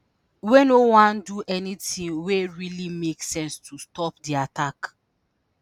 wey "no wan do anytin wey really make sense" to stop di attack.